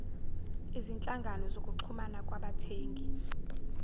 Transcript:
izinhlangano zokuxhumana kwabathengi